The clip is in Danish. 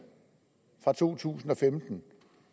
fra to tusind og femten